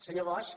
senyor bosch